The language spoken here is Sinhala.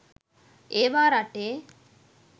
ඒවා රටේ